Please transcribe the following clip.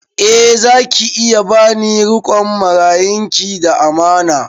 Eh za ki iya ba ni riƙon marayun ki da amana